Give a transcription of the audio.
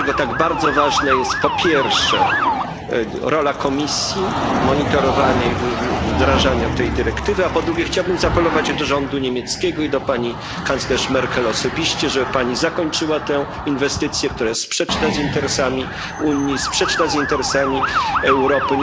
Dlatego tak bardzo ważna jest, po pierwsze, rola Komisji monitorowanie i wdrażanie tej dyrektywy, a po drugie, chciałbym zaapelować do rządu niemieckiego i do pani kanclerz Merkel osobiście, żeby Pani zakończyła tę inwestycję, która jest sprzeczna z interesami Unii, sprzeczna z interesami Europy.